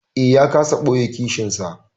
Eh, ya kasa ɓoye kishinsa.